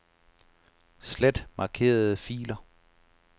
Slet markerede filer.